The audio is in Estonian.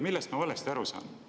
Millest ma valesti aru saan?